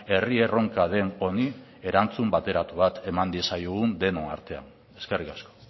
herri erronka den honi erantzun bateratu bat eman diezaiogun denon artean eskerrik asko